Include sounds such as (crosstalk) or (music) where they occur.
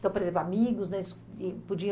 Então, por exemplo, amigos (unintelligible) podiam